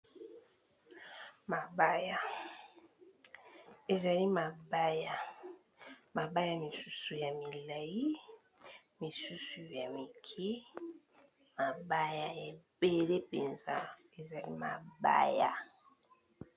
Mabaya misusu ya milayi, misusu ya mikie, mabaya ebele mpenza ezali mabaya.